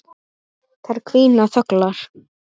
Þær hvína þöglar.